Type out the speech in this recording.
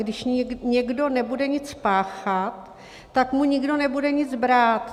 Když někdo nebude nic páchat, tak mu nikdo nebude nic brát.